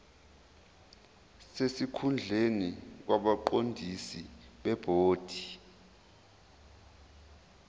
sesikhundleni kwabaqondisi bebhodi